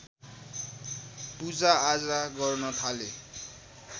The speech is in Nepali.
पूजा आजा गर्न थाले